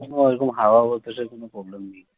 হ্যা এখানে হাওয়া বাতাসের কোনো problem নেই